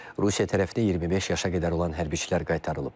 Rusiya tərəfindən 25 yaşa qədər olan hərbiçilər qaytarılıb.